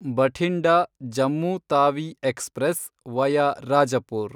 Bathinda, Jammu Tawi express, via Rajpur